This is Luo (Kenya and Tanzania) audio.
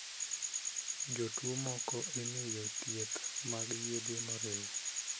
Jotuo moko imiyo thieth mag yedhe moriw.